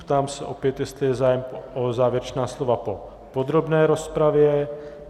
Ptám se opět, jestli je zájem o závěrečná slova po podrobné rozpravě.